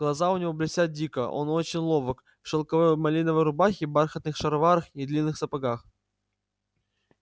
глаза у него блестят дико он очень ловок в шелковой малиновой рубахе бархатных шароварах и длинных сапогах